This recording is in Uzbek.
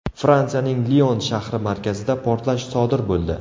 Fransiyaning Lion shahri markazida portlash sodir bo‘ldi.